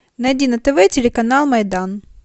найди на тв телеканал майдан